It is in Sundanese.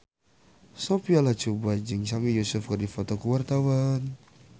Sophia Latjuba jeung Sami Yusuf keur dipoto ku wartawan